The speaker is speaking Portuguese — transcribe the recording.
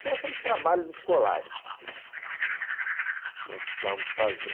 Tinha sempre trabalhos escolares que precisávamos fazer.